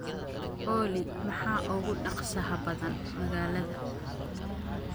olly maxaa ugu dhaqsaha badan magaalada